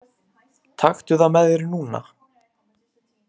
Taktu það með þér núna!